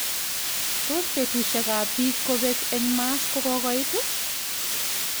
Tos betusuiek ap pik kopek eng mars kokokoit?